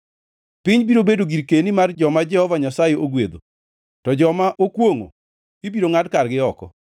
piny biro bedo girkeni mar joma Jehova Nyasaye ogwedho, to joma okwongʼo ibiro ngʼad kargi oko.